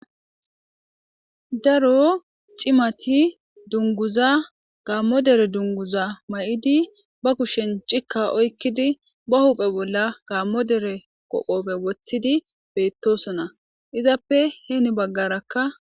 Daro c'imati dunguza gamo dere dunguza may'idi ba kushen c'ika oykidi ba huphe bola gamo dere qobe wothidi betosona izappe heni bagarakka.